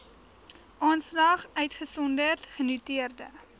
aanslag uitgesonderd genoteerde